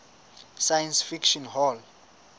science fiction hall